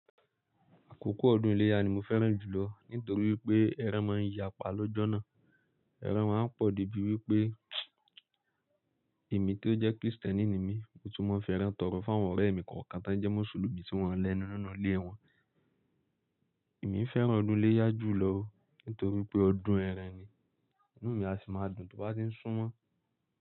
Àkókò ọdún iléyá ni mo fẹ́ràn jù lọ nítorí wípé ẹran máa ń yapa lọ́jọ́ náà. Ẹran máa ń pọ̀ débi wípé èmi tó jẹ́ Krìstẹ́nì ni mi, mo tún máa ń fi ẹran tọrọ fún àwọn ọ̀rẹ́ mi kọ̀ọ̀kan tọ́ jẹ́ Mùsùlùmí tí wọ́n ń lẹnu nínú ìlé wọn. Èmi fẹ́ràn ọdún iléyá jù lọ nítorí pé ọdún ẹran ni, inú mi a sì máa dùn tó bá ti ń súnmọ́.